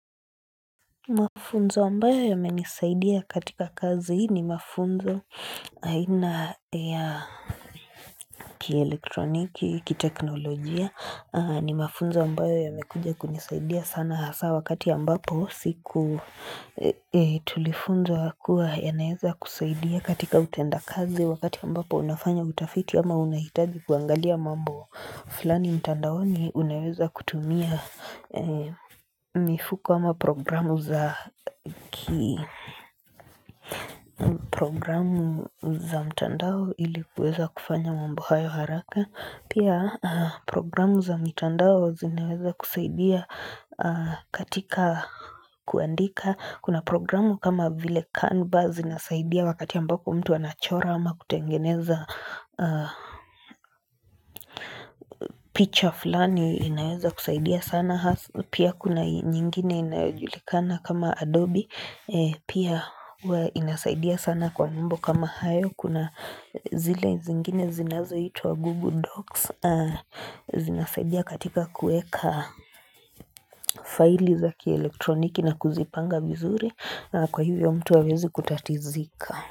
Mafunzo ambayo yamenisaidia katika kazi ni mafunzo aina ya kielektroniki, kiteknolojia ni mafunzo ambayo yamekuja kunisaidia sana hasa wakati ambapo siku tulifunzwa kuwa yanaeza kusaidia katika utendakazi wakati ambapo unafanya utafiti ama unahitaji kuangalia mambo fulani mtandaoni unaweza kutumia mifuko ama programu za ki programu za mtandao ili kuweza kufanya mambo hayo haraka pia programu za mitandao zinaweza kusaidia katika kuandika kuna programu kama vile canvas inasaidia wakati ambapo mtu anachora ama kutengeneza picha fulani inaweza kusaidia sana Pia kuna nyingine inayojulikana kama Adobe Pia huwa inasaidia sana kwa mambo kama hayo Kuna zile zingine zinazoitwa Google Docs Zinasaidia katika kuweka faili za kielektroniki na kuzipanga vizuri Kwa hivyo mtu hawezi kutatizika.